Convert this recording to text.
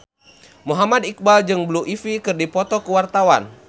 Muhammad Iqbal jeung Blue Ivy keur dipoto ku wartawan